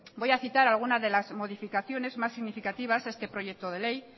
voy a citar a alguna de las modificaciones más significativas a este proyecto de ley